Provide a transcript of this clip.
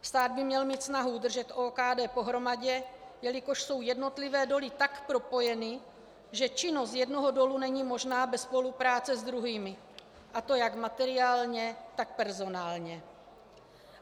Stát by měl mít snahu udržet OKD pohromadě, jelikož jsou jednotlivé doly tak propojeny, že činnost jednoho dolu není možná bez spolupráce s druhými, a to jak materiálně, tak personálně.